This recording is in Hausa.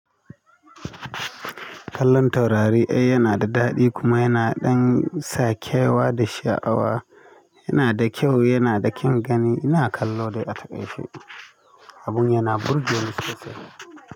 Kallon taurari ai ya na da daɗi kuma ya na ɗan sa kewa da sha'awa. Ya na da kyau, ya na da kyan gani. Ina kallo dai a takaice abun ya na burge ni sosai.